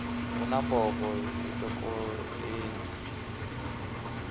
hu na mbofho i topoleni